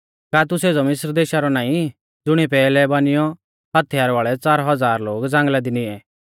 का तू सेज़ौ मिस्र देशा रौ नाईं ज़ुणीऐ पैहलै बानिऔ हथियार वाल़ै च़ार हज़ार लोग ज़ांगल़ा दी निऐं